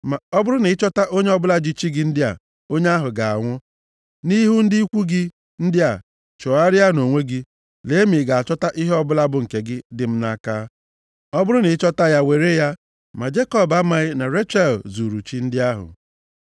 Ma ọ bụrụ na ị chọta onye ọbụla ji chi gị ndị a, onye ahụ ga-anwụ. Nʼihu ndị ikwu gị ndị a, chọgharịa nʼonwe gị, lee ma ị ga-achọta ihe ọbụla bụ nke gị dị m nʼaka. Ọ bụrụ na ị chọta ya, were ya.” Ma Jekọb amaghị na Rechel zuuru chi ndị ahụ.